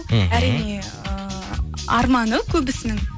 мхм әрине ііі арманы көбісінің